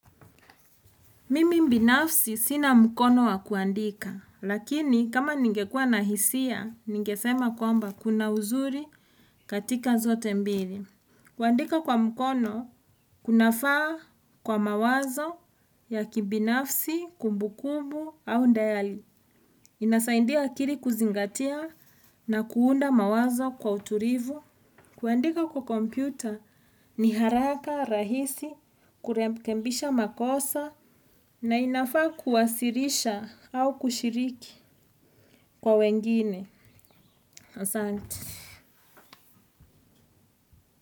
Mimi mbinafsi sina mkono wa kuandika, lakini kama ningekua na hisia, ningesema kwamba kuna uzuri katika zote mbili. Kuandika kwa mkono, kunafaa kwa mawazo ya kibinafsi, kumbu kumbu au ndayali. Inasaindia akiri kuzingatia na kuunda mawazo kwa uturivu. Kuwandika kwa kompyuta ni haraka, rahisi, kurekembisha makosa na inafaa kuwasirisha au kushiriki kwa wengine. Asante.